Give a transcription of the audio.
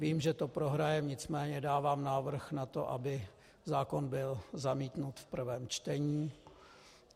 Vím, že to prohrajeme, nicméně dávám návrh na to, aby zákon byl zamítnut v prvém čtení.